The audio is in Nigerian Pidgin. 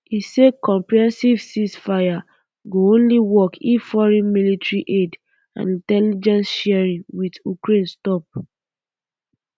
e say um comprehensive ceasefire um go only work if foreign military aid and intelligence sharing wit ukraine stop